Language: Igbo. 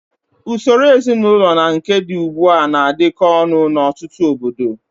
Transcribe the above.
Usoro ezinaụlọ na nke dị ugbu a na-adịkọ ọnụ n'ọtụtụ obodo.